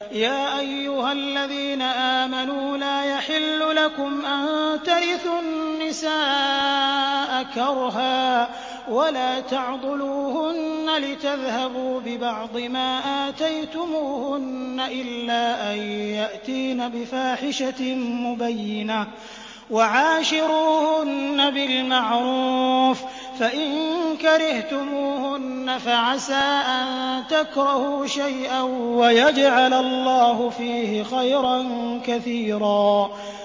يَا أَيُّهَا الَّذِينَ آمَنُوا لَا يَحِلُّ لَكُمْ أَن تَرِثُوا النِّسَاءَ كَرْهًا ۖ وَلَا تَعْضُلُوهُنَّ لِتَذْهَبُوا بِبَعْضِ مَا آتَيْتُمُوهُنَّ إِلَّا أَن يَأْتِينَ بِفَاحِشَةٍ مُّبَيِّنَةٍ ۚ وَعَاشِرُوهُنَّ بِالْمَعْرُوفِ ۚ فَإِن كَرِهْتُمُوهُنَّ فَعَسَىٰ أَن تَكْرَهُوا شَيْئًا وَيَجْعَلَ اللَّهُ فِيهِ خَيْرًا كَثِيرًا